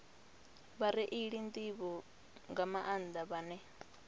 vhareili nḓivho nga maanḓa vhane